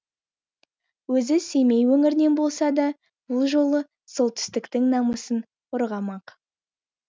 өзі семей өңірінен болса да бұл жолы солтүстіктің намысын қорғамақ